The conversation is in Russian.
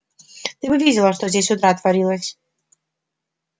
ты бы видела что здесь с утра творилось